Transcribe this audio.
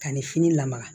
Ka ni fini lamaga